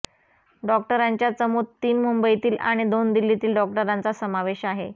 या डॉक्टरांच्या चमूत तीन मुंबईतील आणि दोन दिल्लीतील डॉक्टरांचा समावेश आहे